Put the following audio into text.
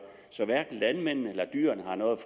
så hverken landmændene eller dyrene har noget